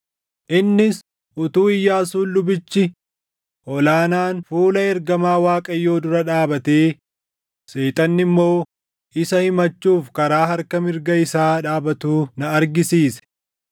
Innis utuu Iyyaasuun lubichi ol aanaan fuula ergamaa Waaqayyoo dura dhaabatee, Seexanni immoo isa himachuuf karaa harka mirga isaa dhaabatuu na argisiise.